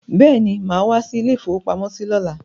Bẹ́ẹ̀ni, màá wá sí ilé-ìfowópamọ́sí lọ́la.